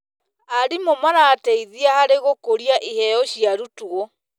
Arimũ marateithia harĩ gũkũria iheo cia arutwo.